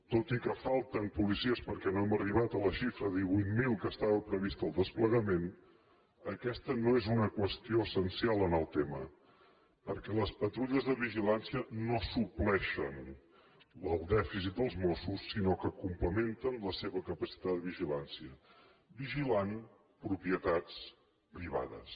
tot i que falten policies perquè no hem arribat a la xifra de divuit mil que estava prevista al desplegament aquesta no és una qüestió essencial en el tema perquè les patrulles de vigilància no supleixen el dèficit dels mossos sinó que complementen la seva capacitat de vigilància vigilant propie tats privades